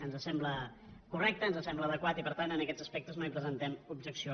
ens sembla correcte ens sembla adequat i per tant en aquests aspectes no hi presentem objecció